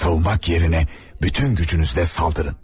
Savunmaq yerinə bütün gücünüzlə saldırın.